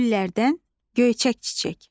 Güllərdən göyçək çiçək.